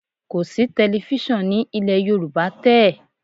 Kọ̀ sí tẹlifísàn ní ilẹ̀ Yorùbá tẹ́ẹ̀